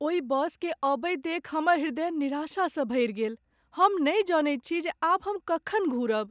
ओहि बसकेँ अबैत देखि हमर हृदय निराशासँ भरि गेल। हम नहि जनैत छी जे आब हम कखन घुरब।